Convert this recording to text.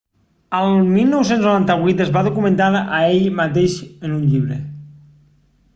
el 1998 es va documentar a ell mateix en un llibre